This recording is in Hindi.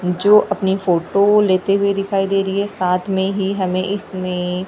जो अपनी फोटो लेते हुए दिखाई दे रही है साथ में ही हमें इसमें--